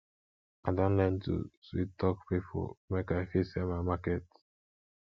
i don learn to sweettalk pipo make i fit sell my market